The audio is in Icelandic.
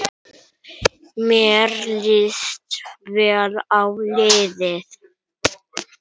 Mér líst vel á liðið.